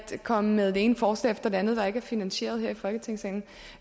komme med det ene forslag efter det andet der ikke er finansieret her i folketingssalen